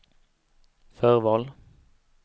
förval